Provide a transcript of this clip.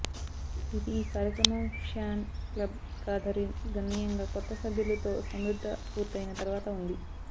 ఇది ఈ కార్యక్రమం ఫ్యాన్ క్లబ్ కాథరిన్ గణనీయంగా కొత్త సభ్యులు తో సమృద్ధ పూర్తయిన తర్వాత ఉంది